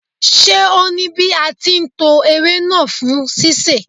Ṣé o ní bí a ti ń to ewé náà fún sísè.